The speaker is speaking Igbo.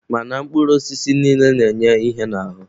Mana mkpụrụ osisi niile na-enye ihe n'ahụ.